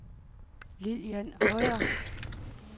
Lillian Høyer